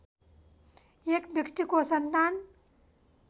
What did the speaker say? एक व्यक्तिको सन्तान